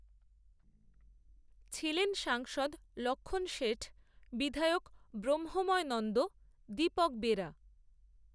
ছিলেন সাংসদ, লক্ষণ শেঠ, বিধায়ক, ব্রহ্মময়, নন্দ, দীপক বেরা